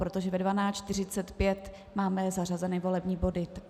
Protože ve 12.45 máme zařazeny volební body.